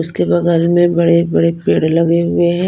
उसके बगल में बड़े-बड़े पेड़ लगे हुए हैं।